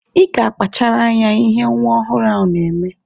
Ị ga-akpachara anya ihe nwa ọhụrụ ahụ na-eme.